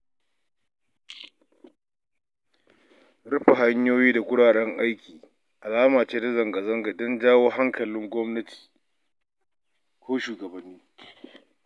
Rufe hanyoyi ko wuraren aiki alama ce ta zanga-zanka don jawo hankalin shugabanni.